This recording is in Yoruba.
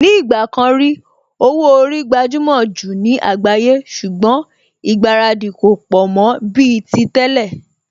Ní ìgbà kan rí, owó orí gbajúmò jù ní àgbáyé ṣùgbọ́n ìgbáradì kò pọ̀ mọ́ bíi ti tẹ́lẹ̀